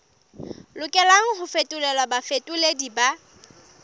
lokelang ho fetolelwa bafetoleding ba